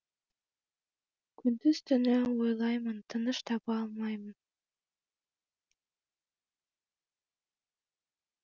күндіз түні ойлаймын тыныш таба алмаймын